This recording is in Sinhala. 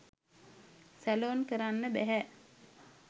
සැලොන් කරන්න බැහැ.